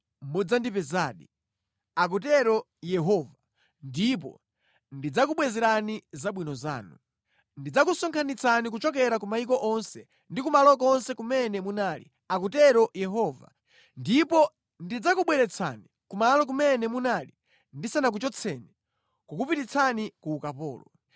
mudzandipezadi,” akutero Yehova, “ndipo ndidzakubwezerani zabwino zanu. Ndidzakusonkhanitsani kuchokera ku mayiko onse ndi kumalo konse kumene munali,” akutero Yehova, “ndipo ndidzakubweretsani kumalo kumene munali ndisanakuchotseni kukupititsani ku ukapolo.”